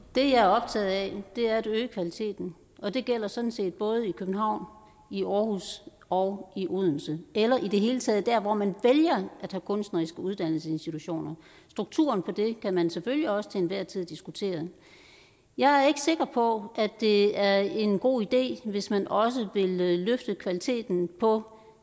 det jeg er optaget af er at øge kvaliteten og det gælder sådan set både i københavn i aarhus og i odense eller i det hele taget der hvor man vælger at have kunstneriske uddannelsesinstitutioner strukturen på det kan man selvfølgelig også til enhver tid diskutere jeg er ikke sikker på at det er en god idé hvis man også vil løfte kvaliteten på